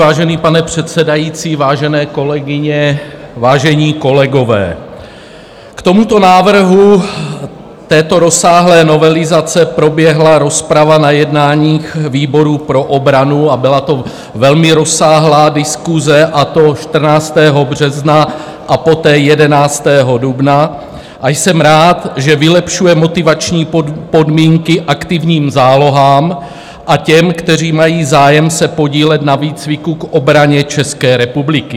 Vážený pane předsedající, vážené kolegyně, vážení kolegové, k tomuto návrhu této rozsáhlé novelizace proběhla rozprava na jednáních výboru pro obranu a byla to velmi rozsáhlá diskuse, a to 14. března a poté 11. dubna, a jsem rád, že vylepšuje motivační podmínky aktivním zálohám a těm, kteří mají zájem se podílet na výcviku k obraně České republiky.